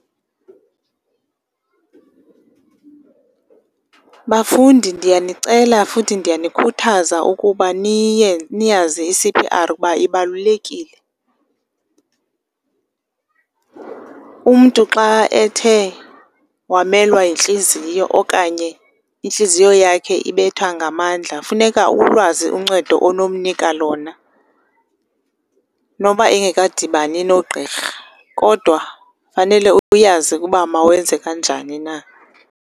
Bafundi, ndiyanicela futhi ndiyanikhuthaza ukuba niyazi iC_P_R ukuba ibalulekile. Umntu xa ethe wamelwa yintliziyo okanye intliziyo yakhe ibetha ngamandla funeka ulwazi uncedo onomnika lona noba engakadibani nogqirha kodwa fanele uyazi ukuba mawenze kanjani na.